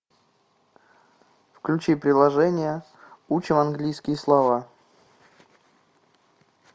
включи приложение учим английские слова